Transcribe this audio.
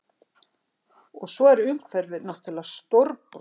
Og svo er umhverfið náttúrlega stórbrotið